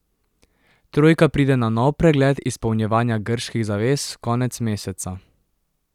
Trojka pride na nov pregled izpolnjevanja grških zavez konec meseca.